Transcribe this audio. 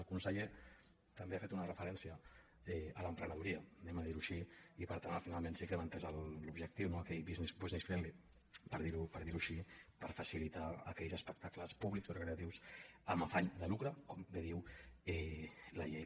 el conseller també ha fet una referència a l’emprenedoria diguem ho així i per tant finalment sí que hem entès l’objectiu no aquell business friendly per dir ho així per facilitar aquells espectacles públics recreatius amb afany de lucre com bé diu la llei